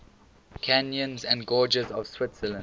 canyons and gorges of switzerland